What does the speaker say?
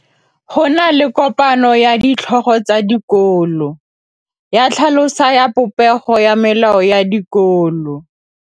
Go na le kopanô ya ditlhogo tsa dikolo ya tlhaloso ya popêgô ya melao ya dikolo.